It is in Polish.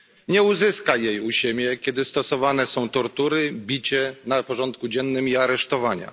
Nie uzyska jej u siebie, kiedy stosowane są tortury, bicie na porządku dziennym i aresztowania.